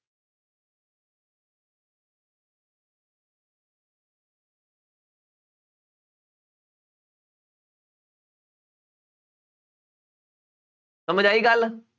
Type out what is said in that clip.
ਸਮਝ ਆਈ ਗੱਲ।